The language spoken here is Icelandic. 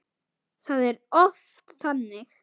Það er oft þannig.